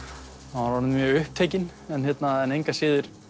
orðinn mjög upptekinn en engu að síður